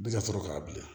Bɛ ka sɔrɔ k'a bilen